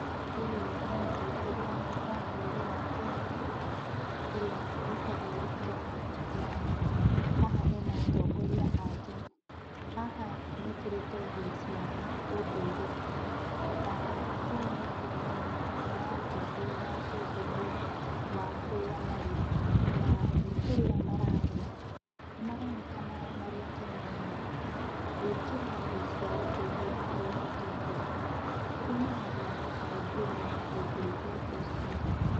Ũyũ nĩ mũtongoria wa bũrũri wa Kenya, ũrĩa wĩtagwo Ruto, na haha ena atongoria angĩ. Haha mekĩrĩte nguo cia ũndũire, na ũũ nĩ kuonania nĩmarakũngũĩra ũndũire wa kũrĩa marĩ. Na, nĩkũrĩa mararĩa, nĩmaronekana marĩ akenu mũno. Gwĩkĩra nguo cia ũndũire harĩ mũtongoria, kuonanagia kũhĩmbĩria ũndũire ũcio.